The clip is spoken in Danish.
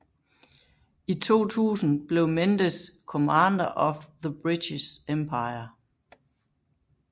I 2000 blev Mendes Commander of The British Empire